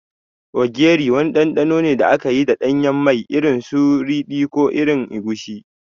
Ogiri wani ɗanɗano ne da aka yi da ɗanyen mai, irin su ridi ko irin egusi.